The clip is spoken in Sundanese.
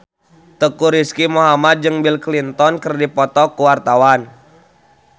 Teuku Rizky Muhammad jeung Bill Clinton keur dipoto ku wartawan